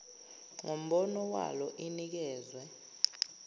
ngombono walo inikezwe